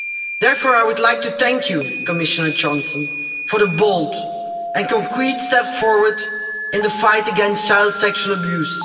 Therefore, I would like to thank you, Commissioner Johansson, for the bold and concrete steps forward in the fight against child sexual abuse.